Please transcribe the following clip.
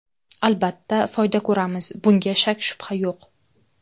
Albatta, foyda ko‘ramiz, bunga shak-shubha yo‘q.